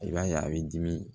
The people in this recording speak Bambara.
I b'a ye a b'i dimi